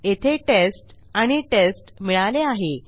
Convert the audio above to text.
येथे टेस्ट आणि टेस्ट मिळाले आहे